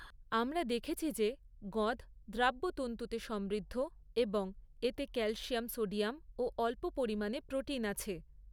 আমরা দেখেছি যে গঁদ দ্রাব্য তন্তুতে সমৃদ্ধ এবং এতে ক্যালসিয়াম সোডিয়াম ও অল্প পরিমাণে প্রোটিন আছে।